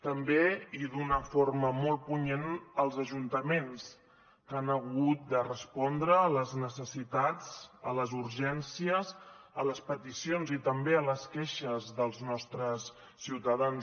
també i d’una forma molt punyent els ajuntaments que han hagut de respondre a les necessitats a les urgències a les peticions i també a les queixes dels nostres ciutadans